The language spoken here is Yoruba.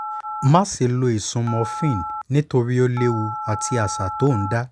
má ṣe lo ìsun morphine nítorí ó léwu àti àṣà tó ń dá